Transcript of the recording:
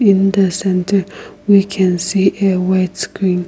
in the center we can see a white screen.